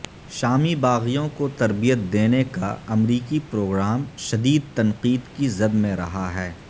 شامی باغیوں کو تربیت دینے کا امریکی پروگرام شدید تنقید کی زد میں رہا ہے